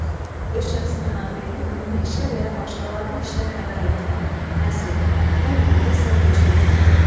Öz şəxsi mənafeyini ümumi işə və ya başqalarının işinə fəda etmə, həsr etmə, bu uğurda səy göstərmə.